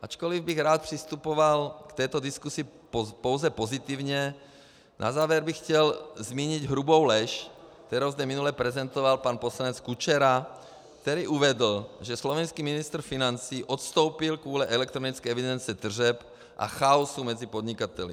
Ačkoliv bych rád přistupoval k této diskusi pouze pozitivně, na závěr bych chtěl zmínit hrubou lež, kterou zde minule prezentoval pan poslanec Kučera, který uvedl, že slovenský ministr financí odstoupil kvůli elektronické evidenci tržeb a chaosu mezi podnikateli.